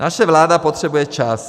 Naše vláda potřebuje čas.